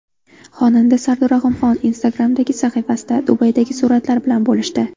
Xonanda Sardor Rahimxon Instagram’dagi sahifasida Dubaydagi suratlari bilan bo‘lishdi.